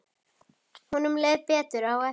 Honum leið betur á eftir.